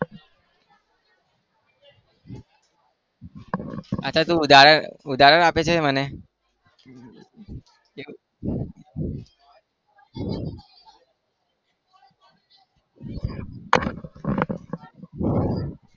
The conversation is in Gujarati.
અચ્છા તું ઉદાહરણ ઉદાહરણ આપે છે મને